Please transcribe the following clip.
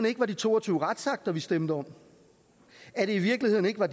ikke var de to og tyve retsakter vi stemte om at det i virkeligheden ikke var